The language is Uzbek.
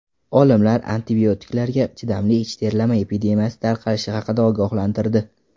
Olimlar antibiotiklarga chidamli ich terlama epidemiyasi tarqalishi haqida ogohlantirdi.